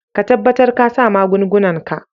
Ka tabatar ka sa magungunan ka.